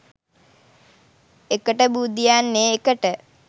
එකට බුදියන්නේ එකට